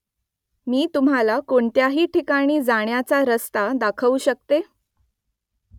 मी तुम्हाला कोणत्याही ठिकाणी जाण्याचा रस्ता दाखवू शकते ?